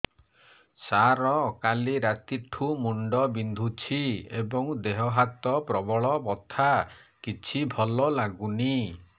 ସାର କାଲି ରାତିଠୁ ମୁଣ୍ଡ ବିନ୍ଧୁଛି ଏବଂ ଦେହ ହାତ ପ୍ରବଳ ବଥା କିଛି ଭଲ ଲାଗୁନି